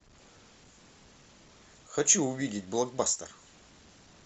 хочу увидеть блокбастер